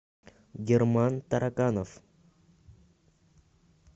герман тараканов